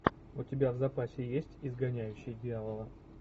у тебя в запасе есть изгоняющий дьявола